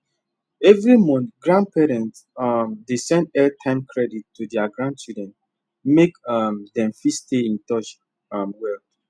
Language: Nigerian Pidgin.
every month grandparents um dey send airtime credit to their grandchildren make um dem fit stay in touch um well